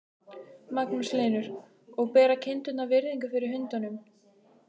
Magnús Hlynur: Og bera kindurnar virðingu fyrir hundunum?